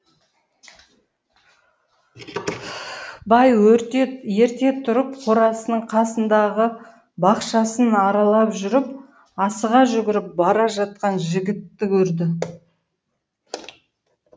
бай ерте тұрып қорасының қасындағы бақшасын аралап жүріп асыға жүгіріп бара жатқан жігітті көрді